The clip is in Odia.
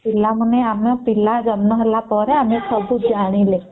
ପିଲାମାନେ ଆମ ପିଲା ଜନ୍ମ ହେଲା ପରେ ଆମେ ସବୁ ଜାଣିଲେ